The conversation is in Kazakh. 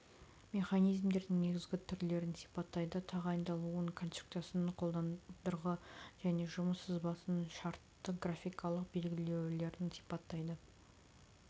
механизмдердің негізгі түрлерін сипаттайды тағайындалуын конструкциясын қондырғы және жұмыс сызбасын шартты графикалық белгілеулерін сипаттайды